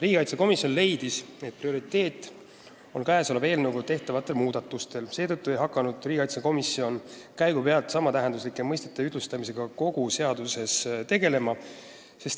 Riigikaitsekomisjon leidis, et prioriteet on eelnõuga tehtavad muudatused, seetõttu ei hakanud riigikaitsekomisjon käigu pealt samatähenduslike sõnade ühtlustamisega tegelema.